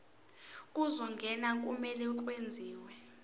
zokungena kumele kwenziwe